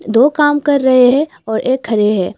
दो काम कर रहे हैं और एक खड़े हैं।